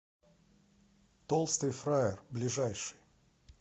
толстый фраер ближайший